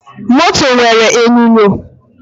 Moto nwere enyonyo